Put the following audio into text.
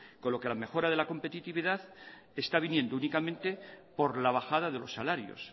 con lo que la mejora de la competitividad está viniendo únicamente por la bajada de los salarios